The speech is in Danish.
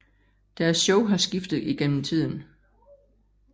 Deres shows har skiftet igennem tiden